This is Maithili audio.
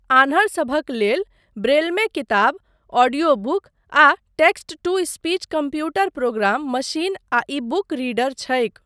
आन्हरसभक लेल, ब्रेलमे किताब, ऑडियो बुक, आ text to speech computer program, machine आ ई बुक रीडर छैक।